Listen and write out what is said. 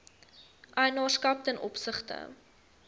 eienaarskap ten opsigte